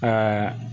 Ka